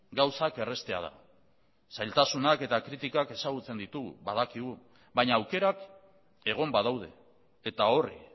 gauzak erraztea da zailtasunak eta kritikak ezagutzen ditugu badakigu baina aukerak egon badaude eta horri